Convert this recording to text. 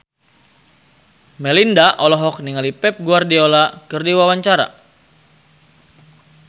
Melinda olohok ningali Pep Guardiola keur diwawancara